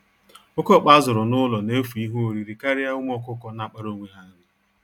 Oke ọkpa a zụrụ n'ụlo na-efu ihe oriri karịa ụmụ ọkụkọ na-akpara onwe ha nri